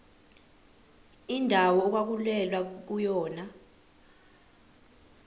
indawo okwakulwelwa kuyona